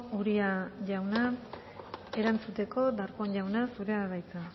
uria jauna erantzuteko darpón jauna zurea da hitza